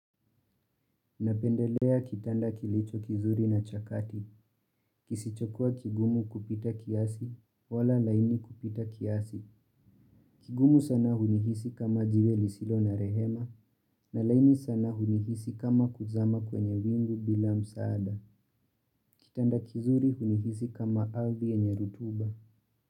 Napendelea kitanda kilicho kizuri na chakati. Kisichokua kigumu kupita kiasi, wala laini kupita kiasi. Kigumu sana hunihisi kama jiwe lisilo na rehema, na laini sana hunihisi kama kuzama kwenye wingu bila msaada. Kitanda kizuri hunihisi kama ardhi yenye rutuba.